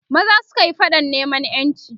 maza sukayi faɗan neman ƴanci